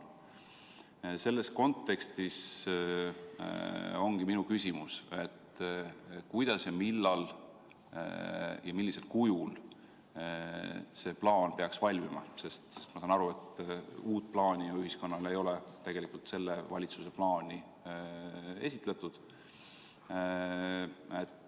Selles kontekstis ongi minu küsimus, et kuidas ja millal ja millisel kujul see plaan peaks valmima, sest ma saan aru, et uut plaani ei ole see valitsus ühiskonnale ju esitlenud.